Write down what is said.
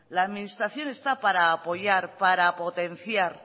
la administración está para apoyar para potenciar